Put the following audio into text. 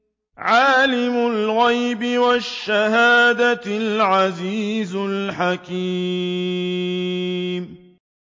عَالِمُ الْغَيْبِ وَالشَّهَادَةِ الْعَزِيزُ الْحَكِيمُ